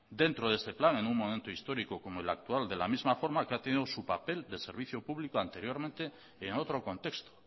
dentro de este plan en un momento histórico como el actual de la misma forma que ha tenido su papel de servicio público anteriormente en otro contexto